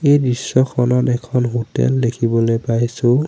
এই দৃশ্যখনত এখন হোটেল দেখিবলৈ পাইছোঁ।